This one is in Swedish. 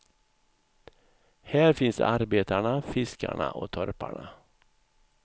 Här finns arbetarna, fiskarna och torparna.